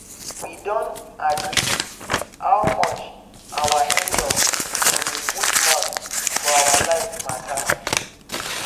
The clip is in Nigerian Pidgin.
we don agree how much our in-law go dey put mouth for our life matter